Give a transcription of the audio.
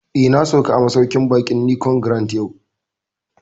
Eh, na sauka a masauƙin baƙin Nicon Grand yau